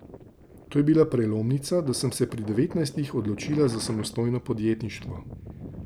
To je bila prelomnica, da sem se pri devetnajstih odločila za samostojno podjetništvo.